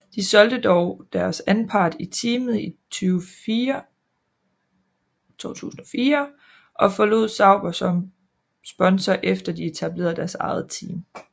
De solgte dog deres anpart i teamet i 2004 og forlod Sauber som sponsor efter de etablerede deres eget team